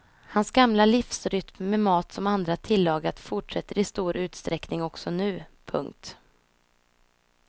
Hans gamla livsrytm med mat som andra tillagat fortsätter i stor utsträckning också nu. punkt